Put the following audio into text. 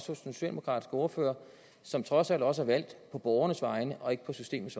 den socialdemokratiske ordfører som trods alt også er valgt på borgernes vegne og ikke på systemets